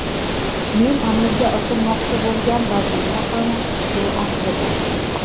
Men amalga oshirmoqchi bo‘lgan vazifa ham shu aslida.